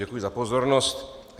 Děkuji za pozornost.